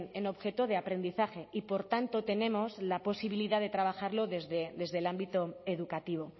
en objeto de aprendizaje y por tanto tenemos la posibilidad de trabajarlo desde el ámbito educativo